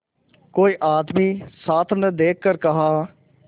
कोई आदमी साथ न देखकर कहा